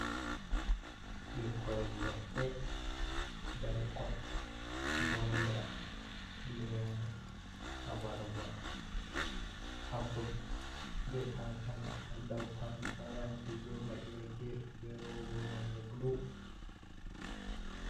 Ɓikkoi leɗɗe belkon gonda, lemu, abarba, apul be kankana, ha dou pararanti be laɓi ha geefe be rooba nonde bulu.